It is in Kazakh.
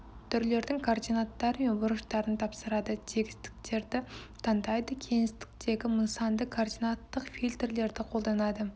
түрлердің координаттары мен бұрыштарын тапсырады тегістіктерді таңдайды кеңістіктегі нысанды координаттық фильтрлерді қолданады